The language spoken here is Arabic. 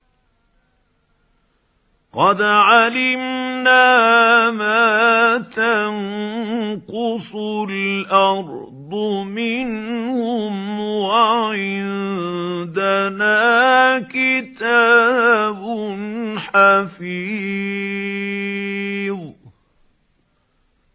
قَدْ عَلِمْنَا مَا تَنقُصُ الْأَرْضُ مِنْهُمْ ۖ وَعِندَنَا كِتَابٌ حَفِيظٌ